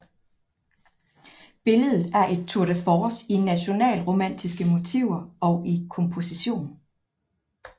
Billedet er et tour de force i nationalromantiske motiver og i komposition